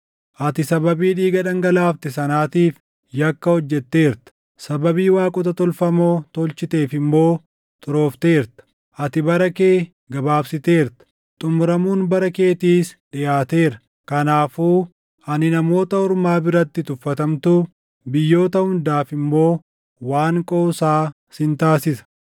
ati sababii dhiiga dhangalaafte sanaatiif yakka hojjetteerta; sababii waaqota tolfamoo tolchiteef immoo xuroofteerta. Ati bara kee gabaabsiteerta; xumuramuun bara keetiis dhiʼaateera. Kanaafuu ani namoota ormaa biratti tuffatamtuu, biyyoota hundaaf immoo waan qoosaa sin taasisa.